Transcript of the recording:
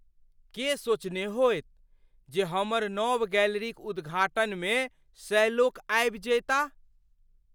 के सोचने होयत जे हमर नव गैलरीक उद्घाटनमे सए लोक आबि जयताह ?